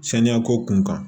Saniya ko kun kan